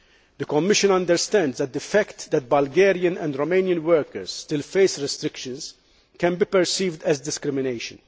The Commission understands that the fact that Bulgarian and Romanian workers still face restrictions can be perceived as discrimination.